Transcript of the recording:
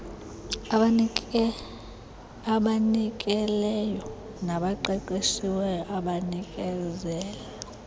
abazinikeleyo nabaqeqeshiweyo abanikezela